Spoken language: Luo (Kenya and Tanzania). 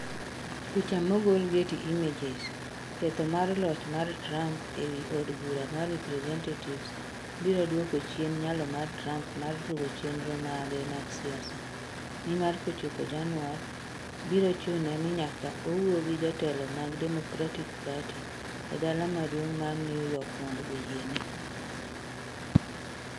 Picha mogol Getty Images Ketho mar loch mar Trump e wi od bura mar representatives biro duoko chien nyalo mar Trump mar luwo chenro mage mag siasa, nimar kochopo Januar, biro chune ni nyaka owuo gi jotelo mag Democratic Party e dala maduong ' mar New York mondo oyiene.